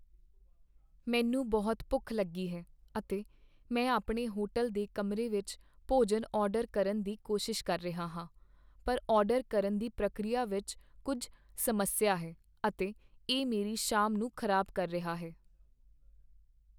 ਮੈਨੂੰ ਬਹੁਤ ਭੁੱਖ ਲੱਗੀ ਹੈ, ਅਤੇ ਮੈਂ ਆਪਣੇ ਹੋਟਲ ਦੇ ਕਮਰੇ ਵਿੱਚ ਭੋਜਨ ਆਰਡਰ ਕਰਨ ਦੀ ਕੋਸ਼ਿਸ਼ ਕਰ ਰਿਹਾ ਹਾਂ, ਪਰ ਆਰਡਰ ਕਰਨ ਦੀ ਪ੍ਰਕਿਰਿਆ ਵਿੱਚ ਕੁੱਝ ਸਮੱਸਿਆ ਹੈ, ਅਤੇ ਇਹ ਮੇਰੀ ਸ਼ਾਮ ਨੂੰ ਖ਼ਰਾਬ ਕਰ ਰਿਹਾ ਹੈ।